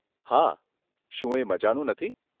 હા. શું એ મઝાનું નથી?